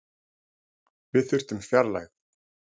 Við þurftum fjarlægð.